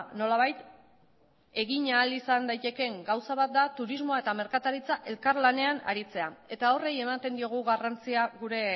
nolabait egin ahal izan daitekeen gauza bat da turismoa eta merkataritza elkarlanean aritzea eta horri ematen diogu garrantzia gure